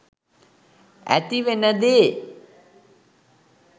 ඇතිවෙන දේ.